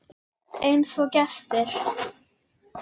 Einsog gestir.